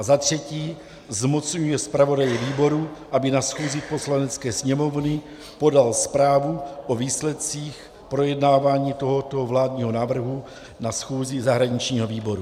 A za třetí zmocňuje zpravodaje výboru, aby na schůzi Poslanecké sněmovny podal zprávu o výsledcích projednávání tohoto vládního návrhu na schůzi zahraničního výboru.